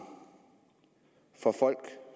for folk